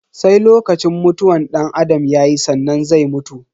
Sai lokacin mutuwan danAdam yayi sannan zai mutu.